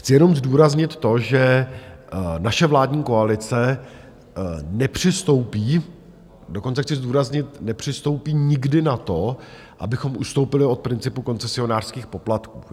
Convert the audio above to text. Chci jenom zdůraznit to, že naše vládní koalice nepřistoupí, dokonce chci zdůraznit, nepřistoupí nikdy na to, abychom ustoupili od principu koncesionářských poplatků.